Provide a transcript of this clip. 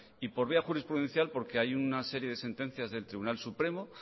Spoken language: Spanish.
y por vía jurisprudencial porque hay una serie de sentencias del tribunal supremo